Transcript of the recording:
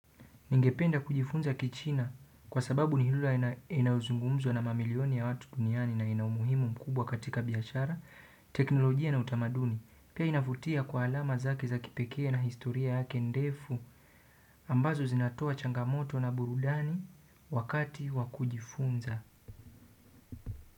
Ningependa kujifunza kichina kwa sababu ni lugha inayozungumzwa na mamilioni ya watu duniani na ina umuhimu mkubwa katika biashara, teknolojia na utamaduni pia inavutia kwa alama zake za kipekee na historia yake ndefu ambazo zinatoa changamoto na burudani wakati wa kujifunza.